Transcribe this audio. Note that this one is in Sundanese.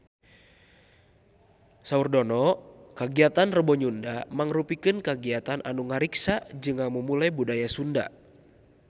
Saur Dono kagiatan Rebo Nyunda mangrupikeun kagiatan anu ngariksa jeung ngamumule budaya Sunda